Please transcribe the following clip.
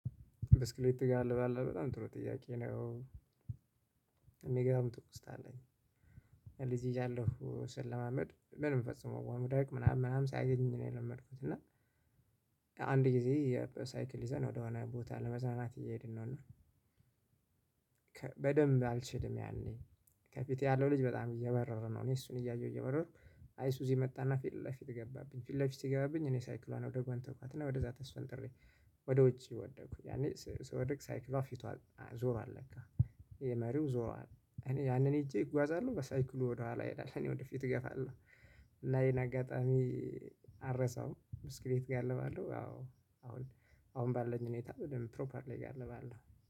ብስክሌት ትጋልባለህ? በጣም ጥሩ ጥያቄ ነው። የሚገርም ትኩስ አለኝ እዚህ ይዣለሁ ስለማመድ ምን የምፈጽመው መውደቅ ምናምን ምናምን ሳያገኝ ነው የለመድኩት። እና አንድ ጊዜ የሳይክል ይዘን ወደሆነ ቦታ ለመዝራት እየሄድን ነውና። በደንብ አልችልም። ያኔ ከፊት ያለው ልጅ በጣም እየበረረ ነው። :እኔ እሱን እያየሁ እየበረርኩ አይ ሱዚ መጣና ፊት ለፊት ገባብኝ። ፊት ለፊት ሲገባብኝ እኔ ሳይክሏን ወደ ጎን ተውኳት እና ወደዛ ተስፈንጥሬ ወደ ውጪ ወደኩኝ። ያኔ ስወድቅ ሳይክሏ ፊቷን ዞር አለካ። የመሪው ዞር አለ እኔ ያንን ሄጄ እጓዛለሁ በሳይክሉ ወደኋላ ይላል እኔ ወደፊት እገፋለሁ። :እና ይሄን አጋጣሚ አልረሳውም። ብስክሌት ጋር እጋልለሁ አዎ አሁን አሁን ባለን ሁኔታ በደንብ ፕሮፓር ላይ አለባለሁ